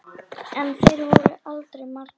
En þeir voru aldrei margir.